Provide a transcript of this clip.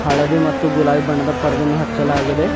ಹಳದಿ ಮತ್ತು ಗುಲಾಬಿ ಬಣ್ಣದ ಪರ್ದೆ ಅನ್ನು ಹಚ್ಚಲಾಗಿದೆ.